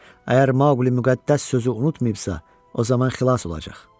Əgər Maqli müqəddəs sözü unutmayıbsa, o zaman xilas olacaq.